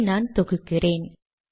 இதை நான் தொகுக்கிறேன்